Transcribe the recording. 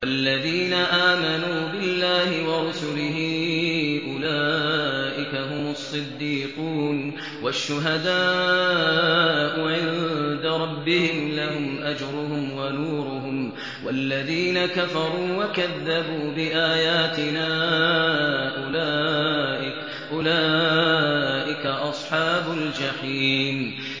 وَالَّذِينَ آمَنُوا بِاللَّهِ وَرُسُلِهِ أُولَٰئِكَ هُمُ الصِّدِّيقُونَ ۖ وَالشُّهَدَاءُ عِندَ رَبِّهِمْ لَهُمْ أَجْرُهُمْ وَنُورُهُمْ ۖ وَالَّذِينَ كَفَرُوا وَكَذَّبُوا بِآيَاتِنَا أُولَٰئِكَ أَصْحَابُ الْجَحِيمِ